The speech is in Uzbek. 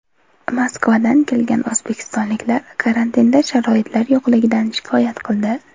Moskvadan kelgan o‘zbekistonliklar karantinda sharoitlar yo‘qligidan shikoyat qildi.